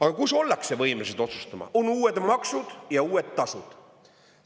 Aga kus ollakse võimelised otsustama, on uued maksud ja uued tasud.